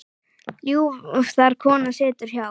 Ljúf þar kona situr hjá.